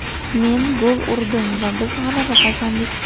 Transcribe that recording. Men gol urdim va biz g‘alaba qozondik.